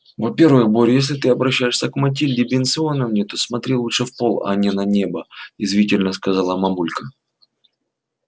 во-первых боря если ты обращаешься к матильде бенционовне то смотри лучше в пол а не на небо язвительно сказала мамулька